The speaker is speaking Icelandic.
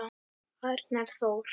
Arnar Þór.